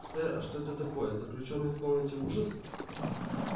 сэр а что это такое заключённый в комнате ужас